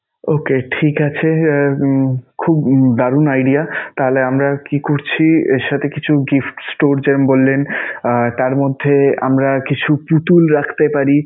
Okay ঠিক আছে! আহ খুব দারুন idea. তাহলে আমরা কি করছি এর সাথে কিছু gift store যেমন বললেন আহ তার মধ্যে আমরা কিছু পুতুল রাখতে পারি.